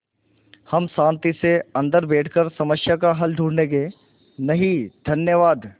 हम शान्ति से अन्दर बैठकर समस्या का हल ढूँढ़े गे नहीं धन्यवाद